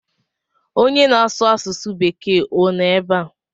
Onye na-asu asụsu bekee o no ebe a?